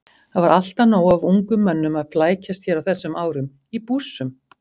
Það var alltaf nóg af ungum mönnum að flækjast hér á þessum árum- í bússum.